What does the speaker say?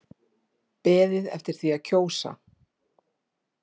Beðið eftir því að kjósa